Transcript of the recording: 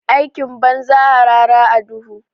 Aikin banza, harara a duhu.